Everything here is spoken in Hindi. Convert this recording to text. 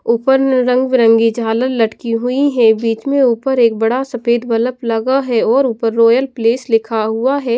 ऊपर न रंगबिरंगी झालर लटकी हुई है बीच में ऊपर एक बड़ा सफेद बलब लगा है और ऊपर रॉयल प्लेस लिखा हुआ है।